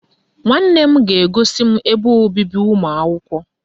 Nwanne m ga-egosi m ebe obibi ụmụakwụkwọ.